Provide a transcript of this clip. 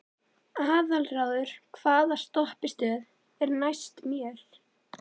Aðalráður, hvaða stoppistöð er næst mér?